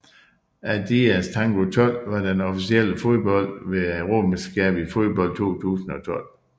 Adidas Tango 12 var den officielle fodbold ved Europamesterskabet i fodbold 2012